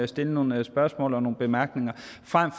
stille nogle spørgsmål og fremsætte nogle bemærkninger